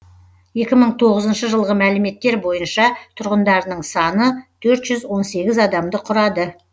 екі мың тоғызыншы жылғы мәліметтер бойынша тұрғындарының саны төрт жүз он сегіз адамды құрады